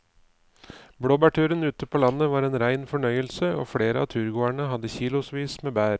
Blåbærturen ute på landet var en rein fornøyelse og flere av turgåerene hadde kilosvis med bær.